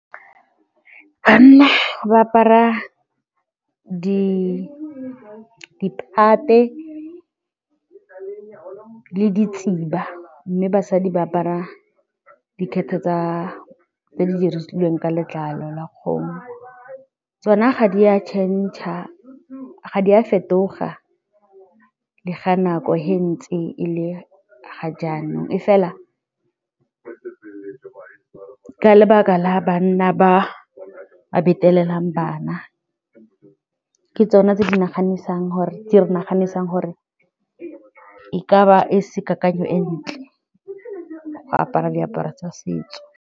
Banna ba apara dilo mme basadi ba apara dikgethe tsa letlalo tse di dirilweng ka letlalo la kgomo, tsona ga di a change-a, ga di a fetoga le ga nako ge ntsi e le ga jaanong e fela ka lebaka la banna ba betelela bana le ke tsone tse di naganang gore di naganang gore e ka ba e se kakanyo e ntle go apara diaparo tsa setso.